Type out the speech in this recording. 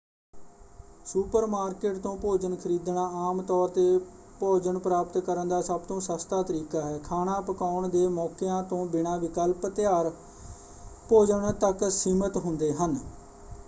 Supermarket ਤੋਂ ਭੋਜਨ ਖਰੀਦਣਾ ਆਮ ਤੌਰ 'ਤੇ ਭੋਜਨ ਪ੍ਰਾਪਤ ਕਰਨ ਦਾ ਸਭ ਤੋਂ ਸਸਤਾ ਤਰੀਕਾ ਹੈ। ਖਾਣਾ ਪਕਾਉਣ ਦੇ ਮੌਕਿਆਂ ਤੋਂ ਬਿਨਾਂ ਵਿਕਲਪ ਤਿਆਰ ਭੋਜਨ ਤੱਕ ਸੀਮਿਤ ਹੁੰਦੇ ਹਨ।